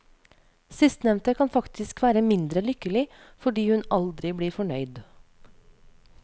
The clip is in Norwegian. Sistnevnte kan faktisk være mindre lykkelig, fordi hun aldri blir fornøyd.